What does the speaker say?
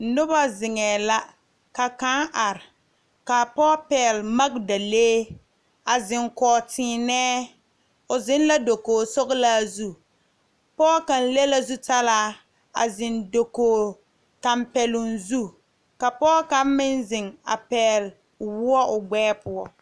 Nobɔ zeŋɛɛ la ka kaŋ are kaa pɔɔ pɛɛle magdalee a zeŋ kɔg tēēnɛɛ o zeŋ la dokoge sɔglaa zu pɔɔ kaŋ le la zutalaa a zeŋ dokoge tampɛloŋ zu ka pɔɔ kaŋ meŋ zeŋ a pɛɛle woɔ o gbɛɛ poɔ.